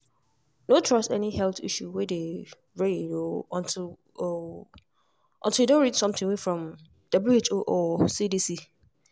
no trust any health issue way dey reign o untill o untill you don read something way from who or cdc.